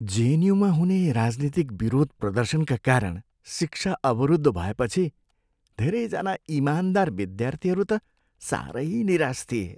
जेएनयूमा हुने राजनीतिक विरोध प्रदर्शनका कारण शिक्षा अवरुद्ध भएपछि धेरैजना इमानदार विद्यार्थीहरू त साह्रै निराश थिए।